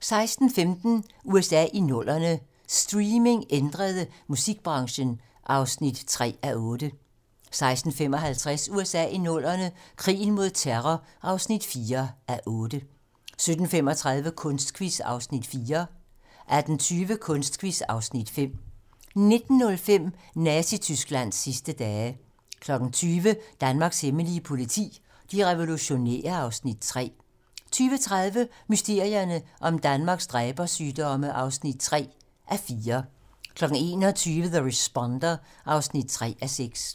16:15: USA i 00'erne - streaming ændrede musikbranchen (3:8) 16:55: USA i 00'erne - krigen mod terror (4:8) 17:35: Kunstquiz (Afs. 4) 18:20: Kunstquiz (Afs. 5) 19:05: Nazi-Tysklands sidste dage 20:00: Danmarks hemmelige politi: De revolutionære (Afs. 3) 20:30: Mysterierne om Danmarks dræbersygdomme (3:4) 21:00: The Responder (3:6)